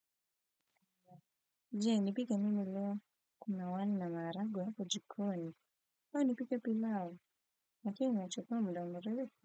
Je nipike nini leo kuna wali na maharagwe hapo jikoni au nipike pilau lakini inachukuwa muda mrefu.